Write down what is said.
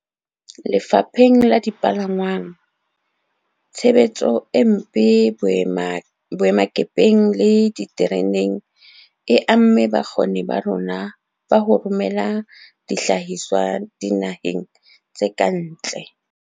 Lefapheng la dipalangwang, tshebetso e mpe boemakepeng le ditereneng e amme bokgoni ba rona ba ho romela dihlahiswa dina heng tse kantle.